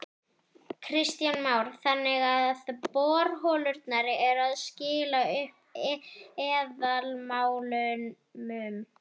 Kristján Már: Þannig að borholurnar eru að skila upp eðalmálmum?